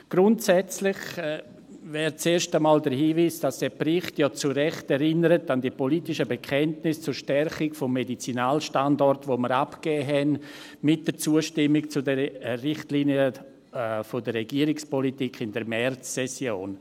Grundsätzlich zuerst einmal der Hinweis, dass dieser Bericht ja zu Recht an die politischen Bekenntnisse zur Stärkung des Medizinalstandorts erinnert, die wir in der Märzsession mit der Zustimmung zu den Richtlinien der Regierungspolitik abgegeben haben.